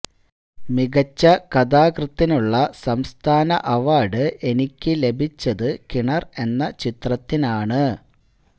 മികച്ച കഥാകൃത്തിനുളള സംസ്ഥാന അവാർഡ് എനിക്ക് ലഭിച്ചത് കിണർ എന്ന ചിത്രത്തിനാണ്